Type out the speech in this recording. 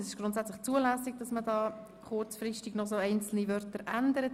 Es ist grundsätzlich zulässig, einzelne Wörter zu ändern.